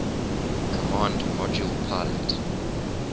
command module pilot